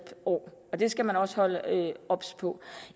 år og det skal man også være obs på